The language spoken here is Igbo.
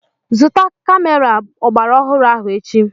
Zụta kamera ọgbaraọhụrụ ahụ echi!